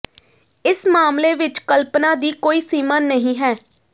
ਇਸ ਮਾਮਲੇ ਵਿਚ ਕਲਪਨਾ ਦੀ ਕੋਈ ਸੀਮਾ ਨਹੀਂ ਹੈ